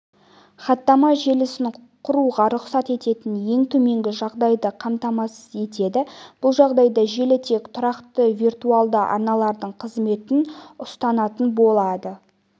хаттама желісін құруға рұқсат ететін ең төменгі жағдайды қамтамасыз етеді бұл жағдайда желі тек тұрақты виртуалды арналардың қызметін ұсынатын болады